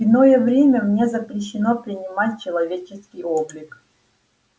в иное время мне запрещено принимать человеческий облик